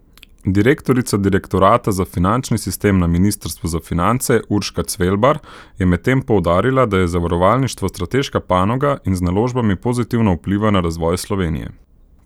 Direktorica direktorata za finančni sistem na ministrstvu za finance Urška Cvelbar je medtem poudarila, da je zavarovalništvo strateška panoga in z naložbami pozitivno vpliva na razvoj Slovenije.